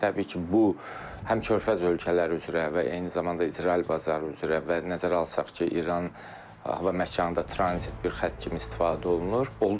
Təbii ki, bu həm Körfəz ölkələri üzrə və eyni zamanda İsrail bazarı üzrə və nəzərə alsaq ki, İran hava məkanı da tranzit bir xətt kimi istifadə olunur.